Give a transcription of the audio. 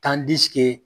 K'an